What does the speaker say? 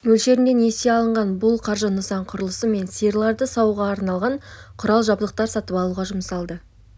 мөлшерінде несие алынған бұл қаржы нысан құрылысы мен сиырларды саууға арналған құрал-жабдықтарды сатып алуға жұмсалды